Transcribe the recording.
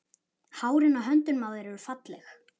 Hárin á höndunum á þér eru falleg.